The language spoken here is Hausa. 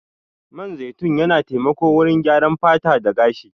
Man zaitun yana taimako wurin gyaran fata da gashi.